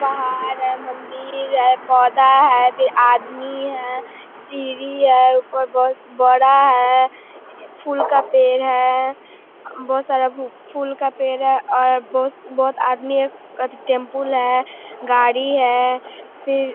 पहाड़ है मंदिर है पौधा है आदमी है सीढी है बहुत बड़ा है। फूल का पेड़ है बहोत सारा फूल का पेड़ है और बहोत-बहोत आदमी गाड़ी है।